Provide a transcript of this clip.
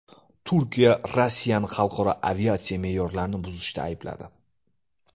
Turkiya Rossiyani xalqaro aviatsiya me’yorlarini buzishda aybladi.